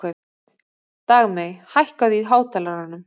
Dagmey, hækkaðu í hátalaranum.